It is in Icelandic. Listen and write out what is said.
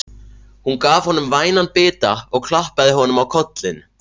Hún gaf honum vænan bita og klappaði honum á kollinn.